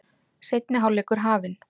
Seinni hálfleikur hafinn